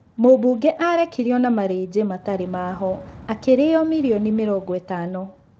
Mũmbunge arekirio na marĩjĩ matarĩ ma o,rĩo ma miliono mirongo ĩtano